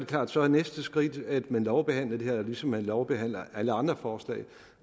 klart at så er næste skridt at man lovbehandler det ligesom man lovbehandler alle andre forslag